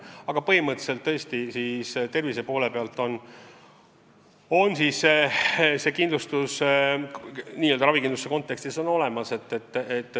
Aga põhimõtteliselt tõesti kindlustus n-ö ravikindlustuse mõttes on olemas.